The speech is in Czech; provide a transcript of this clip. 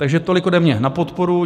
Takže tolik ode mě na podporu.